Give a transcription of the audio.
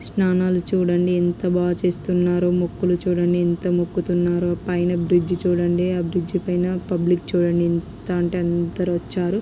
స్నానాలు చూడండి ఎంత బాగా చేస్తున్నారో. మొక్కులు చూడండి ఎంత మొక్కుతున్నారో పైన బ్రిడ్జ్ చూడండి. ఆ బ్రిడ్జ్ పైన పబ్లిక్ చూడండి ఎంత అంటే అందరూ వచ్చారు.